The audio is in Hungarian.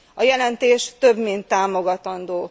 A jelentés több mint támogatandó.